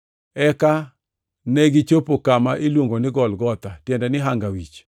Eka negichopo kama iluongo ni Golgotha (tiende ni “Hanga Wich”).